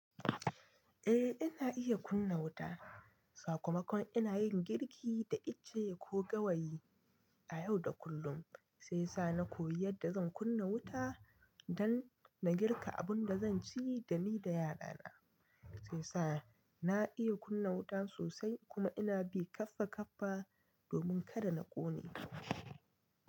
Eh, ina iya kunna wuta. Sakamakon ina yin girki da itace ko gawayi a yau da kullum sai sa na koyi yadda zan kunna wuta don na girka abin da zan ci da ni da 'ya'yana. Sai sa na iya kunna wuta sosai kuma ina bi kaffa kaffa domin kada na ƙone.